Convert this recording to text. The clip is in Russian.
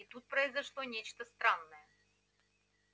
и тут произошло нечто странное